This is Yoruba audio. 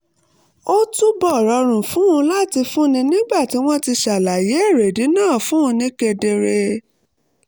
ó túbọ̀ rọrùn fún un láti fúnni nígbà tí wọ́n ti ṣàlàyé èrèdí náà fún un ni kedere